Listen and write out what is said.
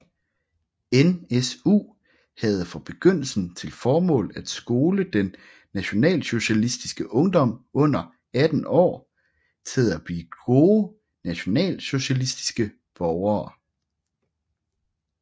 NSU havde fra begyndelsen til formål at skole den nationalsocialistiske ungdom under 18 år til at blive gode nationalsocialistiske borgere